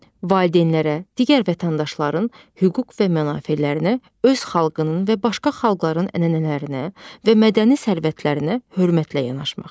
Valideynlərə, digər vətəndaşların hüquq və mənafelərinə, öz xalqının və başqa xalqların ənənələrinə və mədəni sərvətlərinə hörmətlə yanaşmaq.